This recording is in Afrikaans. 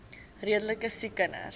redelike siek kinders